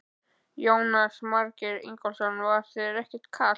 Jónas Margeir Ingólfsson: Var þér ekkert kalt?